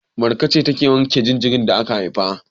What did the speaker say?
Marka ce take wanke jaririn da aka haifa.